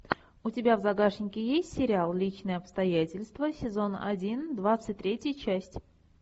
у тебя в загашнике есть сериал личные обстоятельства сезон один двадцать третья часть